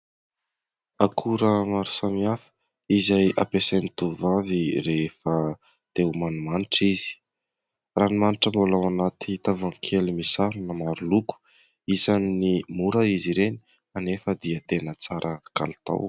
Akora maro samihafa izay ampiasain'ny tovovavy rehefa te ho manimanitra izy. Ranomanitra mbola ao anaty tavoahangy kely misarona maro loko. Isan'ny mora izy ireny nefa dia tena tsara kalitao.